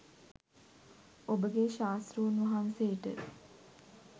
ඔබගේ ශාස්තෘන් වහන්සේට